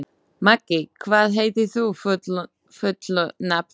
Maggi, hvað heitir þú fullu nafni?